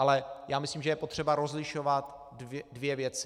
Ale myslím si, že je potřeba rozlišovat dvě věci.